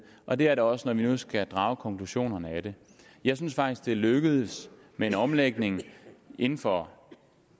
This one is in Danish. og det er det også når nu vi skal drage konklusionerne af det jeg synes faktisk at det er lykkedes med en omlægning inden for